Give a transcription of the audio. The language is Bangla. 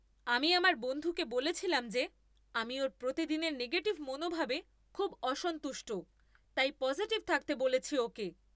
আমি আমার বন্ধুকে বলেছিলাম যে আমি ওর প্রতিদিনের নেগেটিভ মনোভাবে খুব অসন্তুষ্ট তাই পজিটিভ থাকতে বলেছি ওকে।